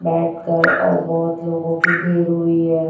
बैठकर और बहोत लोगों की भीड़ हुई हैं।